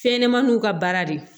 Fɛnɲɛnɛmaninw ka baara de